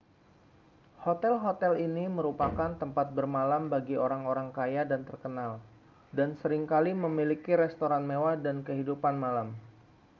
hotel-hotel ini merupakan tempat bermalam bagi orang-orang kaya dan terkenal dan sering kali memiliki restoran mewah dan kehidupan malam